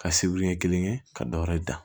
Ka sibiri ɲɛ kelen ka dɔwɛrɛ dan